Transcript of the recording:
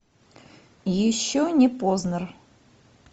еще не познер